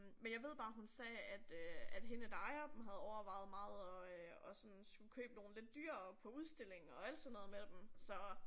Men jeg ved bare hun sagde at øh at hende der ejer dem havde overvejet meget at øh at sådan skulle købe nogle lidt dyrere på udstilling og alt sådan noget med dem så